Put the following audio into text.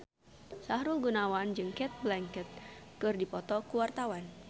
Sahrul Gunawan jeung Cate Blanchett keur dipoto ku wartawan